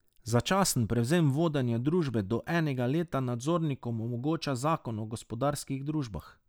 Začasen prevzem vodenja družbe do enega leta nadzornikom omogoča zakon o gospodarskih družbah.